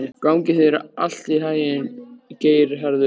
Gangi þér allt í haginn, Geirharður.